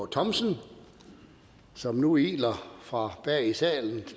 thomsen som nu iler fra bag i salen